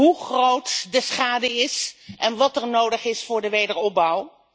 hoe groot de schade is en wat er nodig is voor de wederopbouw.